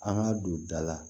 An ka don da la